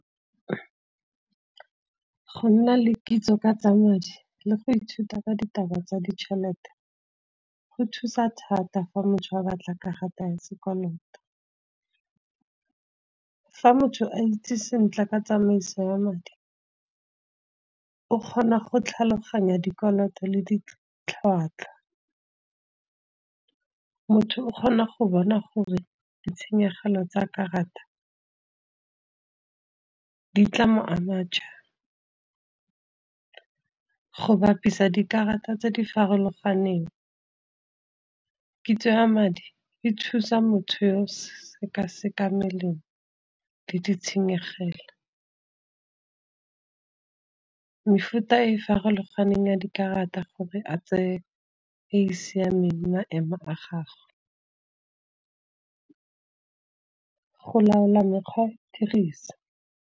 Go nna le kitso ka tsa madi le go ithuta ka ditaba tsa ditšhelete, go thusa thata fa motho a batla karata ya sekoloto. Fa motho a itse sentle ka tsamaiso ya madi o kgona go tlhaloganya dikoloto le ditlhwatlhwa. Motho o kgona go bona gore ditshenyegelo tsa karata, di tla mo ama jang. Go bapisa dikarata tse di farologaneng, kitso ya madi e thusa motho yo o sekasekang melemo, le ditshenyegelo. Mefuta e farologaneng ya dikarata gore a tseye e e siameng maemo a gagwe, go laola mekgwa ya go e dirisa.